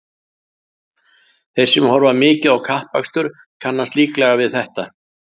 Þeir sem horfa mikið á kappakstur kannast líklega við þetta.